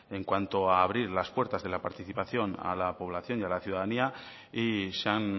en cuanto a abrir las puertas de la participación a la población y a la ciudadanía y se han